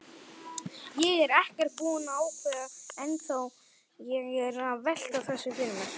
Ég er ekkert búinn að ákveða ennþá, ég er að velta þessu fyrir mér.